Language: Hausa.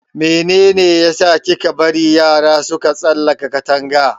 Mene ne ya sa kika bari yara suka tsalaka Katanga?